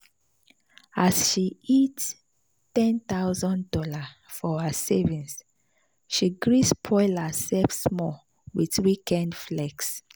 as she hit one thousand dollars0 for her savings she gree spoil herself small with weekend flex.